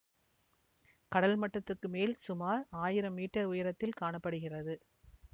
கடல் மட்டத்துக்கு மேல் சுமார் ஆயிரம் மீட்டர் உயரத்தில் காண படுகிறது